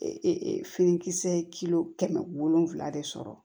Ee finikisɛ kilo kɛmɛ wolonwula de sɔrɔ